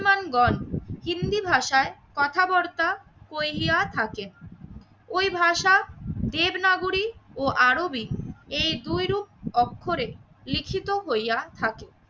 মানগণ হিন্দি ভাষায় কথাবার্তা কইিয়া থাকে। ওই ভাষা দেবনাগরী ও আরবী এই দুইরূপ অক্ষরে লিখিত হইয়া থাকে।